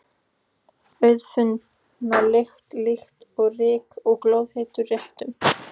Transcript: Auðfundna lykt, líkt og ryki af glóðheitum réttum.